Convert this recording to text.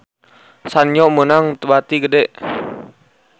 Sanyo meunang bati gede